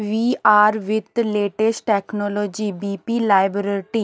VR with latest technology V P laboratory --